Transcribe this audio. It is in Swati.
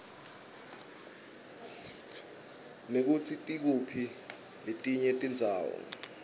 nekutsi tikuphi letinye tindzawo